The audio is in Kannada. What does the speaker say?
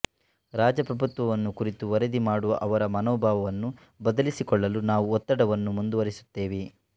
ರಾಜಪ್ರಭುತ್ವವನ್ನು ಕುರಿತು ವರದಿ ಮಾಡುವ ಅವರ ಮನೋಭಾವವನ್ನು ಬದಲಿಸಿಕೊಳ್ಳಲು ನಾವು ಒತ್ತಡವನ್ನು ಮುಂದುವರಿಸುತ್ತೇವೆ